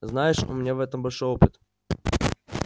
знаешь у меня в этом большой опыт